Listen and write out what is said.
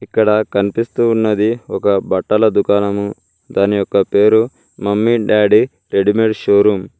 ఇక్కడ కనిపిస్తూ ఉన్నది ఒక బట్టల దుకాణము దాని యొక్క పేరు mummy daddy readymade show room .